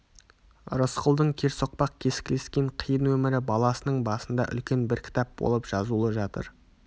рысқұлдың керсоқпақ кескілескен қиын өмірі баласының басында үлкен бір кітап болып жазулы жатыр